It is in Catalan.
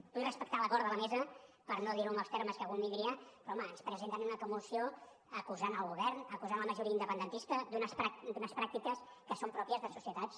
vull respectar l’acord de la mesa per no dir ho amb els termes que convindria però home ens presenten una moció acusant el govern acusant la majoria independentista d’unes pràctiques que són pròpies de societats